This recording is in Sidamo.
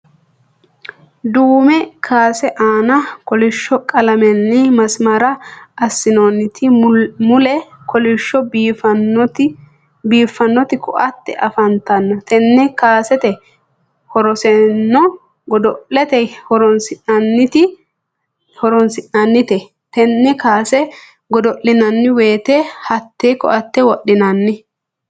duume kaase aanna kolisho qalamenni masimara asinoonite mulle kolisho biifanoti ko'atte afantanno tenne kaseeti horosenno godolate horonsi'nannite tenne kaase godo'linanni woyite hattenne ko'atte wodhinanni.